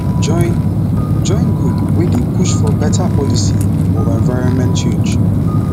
join join group wey dey push for beta policy or environment change